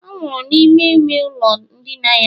ọ nwụrụ n'ime ime ụlọ ndina ya